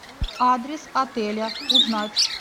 адрес отеля узнать